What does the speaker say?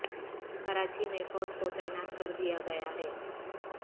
کراچی میں فوج کو تعنیات کر دیا گیا ہے